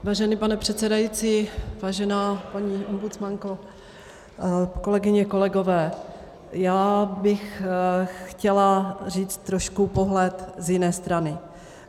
Vážený pane předsedající, vážená paní ombudsmanko, kolegyně, kolegové, já bych chtěla říct trošku pohled z jiné strany.